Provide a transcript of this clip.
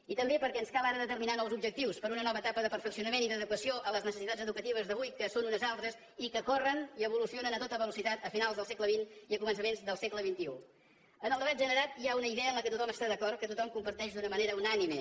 i també perquè ens cal ara determinar nous objectius per a una nova etapa de perfeccionament i d’adequació a les necessitats educatives d’avui que són unes altres i que corren i evolucionen a tota velocitat a finals del segle çaments del segle en el debat generat hi ha una idea en què tothom està d’acord que tothom comparteix d’una manera unànime